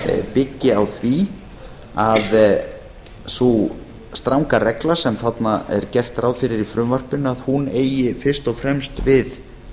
byggi á því að sú stranga regla sem þarna er gert ráð fyrir í frumvarpinu eigi fyrst og fremst við